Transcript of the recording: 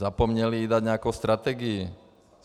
Zapomněli jí dát nějakou strategii.